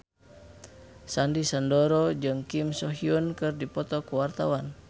Sandy Sandoro jeung Kim So Hyun keur dipoto ku wartawan